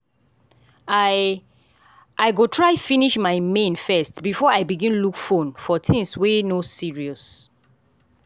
i i go try finish my main first before i begin look fone for things weey no serious.